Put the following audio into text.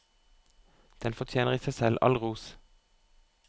Den fortjener i seg selv all ros.